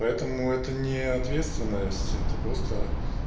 поэтому это не ответственность это просто